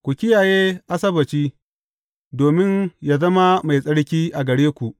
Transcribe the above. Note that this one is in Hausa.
Ku kiyaye Asabbaci, domin yă zama mai tsarki a gare ku.